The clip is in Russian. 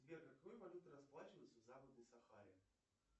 сбер какой валютой расплачиваться в западной сахаре